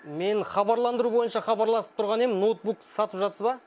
мен хабарландыру бойынша хабарласып тұрған ем ноутбук сатып жатсыз ба